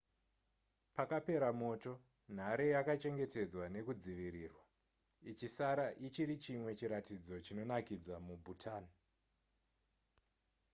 pakapera moto nhare yakachengetedzwa nekudzivirirwa ichisara ichiri chimwe chiratidzo chinonakidza mubhutan